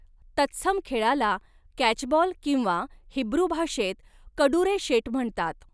तत्सम खेळाला कॅचबॉल किंवा हिब्रू भाषेत कडुरेशेट म्हणतात.